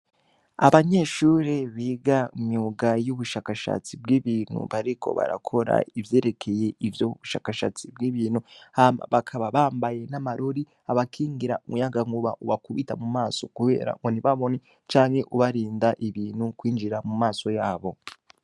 Abanyeshure biga myuga y'ubushakashatsi bw'ibintu bariko barakora ivyerekeye ivyo bushakashatsi bw'ibintu hama bakaba bambaye n'amarori abakingira muyagankuba uwakubita mu maso, kubera ngo ntibabone canke ubarinda ibintu kwinjira mu maso yabo.